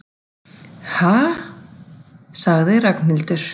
Ha sagði Ragnhildur.